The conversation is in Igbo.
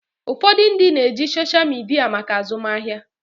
Ụfọdụ ndị na-eji soshal midia maka azụmahịa.